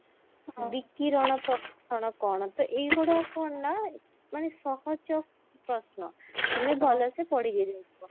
ବିକିରଣ ପ୍ରଦୂଷଣ କଣ ତ ଏଇ ଗୁଡା କଣ ନା ମାନେ ସହଜ ପ୍ରଶ୍ନ ତୁମେ ଭଲସେ ପଢିକି ଯାଇଥିବ